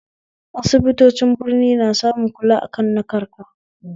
Asibitocin Birni na samun kula akan na karka